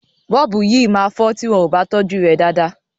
Bọ́ọ̀bù yìí máa fọ tí wọ́n ò bá tọ́jú rẹ̀ dáadáa.